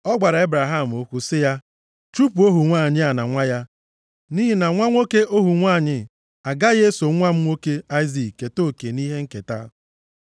ọ gwara Ebraham okwu sị ya, “Chụpụ ohu nwanyị a na nwa ya. Nʼihi na nwa nwoke ohu nwanyị agaghị eso nwa m nwoke Aịzik keta oke nʼihe nketa.”